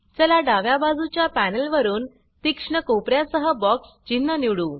चला डाव्या बाजूच्या पॅनल वरुन तीक्ष्ण कोपर्या सह बॉक्स चिन्ह निवडू